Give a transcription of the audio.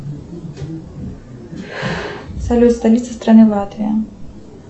салют столица страны латвия